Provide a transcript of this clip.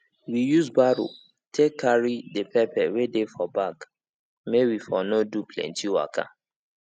we use barrow um take carry the pepper wey dey for bag may we for no do plenty waka